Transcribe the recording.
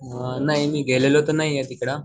अअ नाही मी गेलेलो तर नाहीये तिकडं